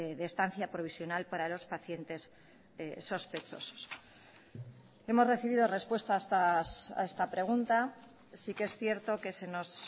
de estancia provisional para los pacientes sospechosos hemos recibido respuesta a esta pregunta sí que es cierto que se nos